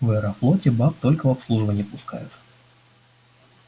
в аэрофлоте баб только в обслуживание пускают